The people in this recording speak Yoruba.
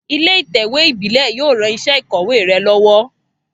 Ilé ìtẹ̀wé ìbílé yio ran isé ìkòwé re lówó